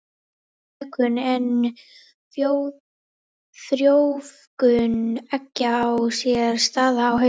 Mökun og frjóvgun eggja á sér stað á haustin.